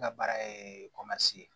N ka baara ye ye